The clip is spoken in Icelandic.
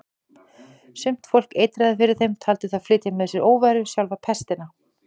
Sumt fólk eitraði fyrir þeim, taldi þá flytja með sér óværu, sjálfa pestina.